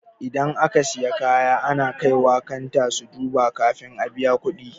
Idan aka siya kaya ana kaiwa kanta su duba kafin a biya kuɗi.